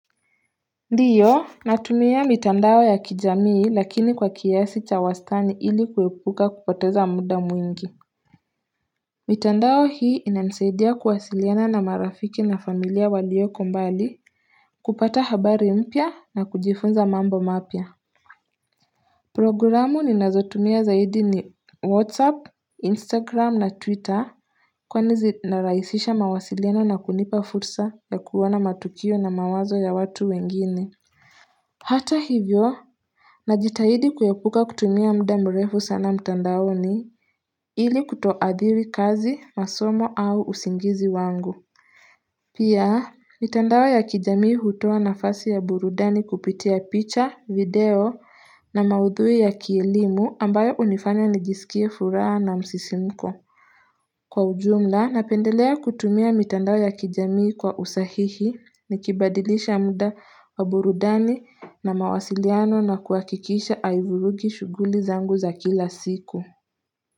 Ndiyo natumia mitandao ya kijamii lakini kwa kiasi cha wastani ili kuepuka kupoteza muda mwingi mitandao hii inanisaidia kuwasiliana na marafiki na familia waliyoko mbali kupata habari mpya na kujifunza mambo mapya Programu ninazotumia zaidi ni whatsapp, instagram na twitter kwani zinarahisisha mawasiliano na kunipa fursa ya kuona matukio na mawazo ya watu wengine Hata hivyo na jitahidi kuyepuka kutumia mda mrefu sana mtandaoni ili kutoadhiri kazi, masomo au usingizi wangu. Pia, mitandao ya kijamii hutoa nafasi ya burudani kupitia picha, video na maudhui ya kielimu ambayo unifanya nijisikie furaha na msisimko. Kwa ujumla, napendelea kutumia mitandao ya kijamii kwa usahihi ni kibadilisha muda wa burudani na mawasiliano na kuhakikisha aivurugi shughuli zangu za kila siku.